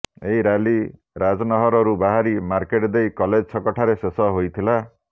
ଏହି ରାଲି ରାଜନହରରୁ ବାହାରି ମାର୍କେଟ ଦେଇ କଲେଜ ଛକ ଠାରେ ଶେଷ ହୋଇଥିଲା